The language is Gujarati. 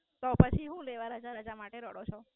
તો પછી હુ લેવા રજા રજા માટે રડો છો?